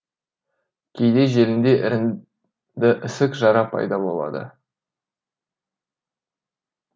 кейде желінде іріңді ісік жара пайда болады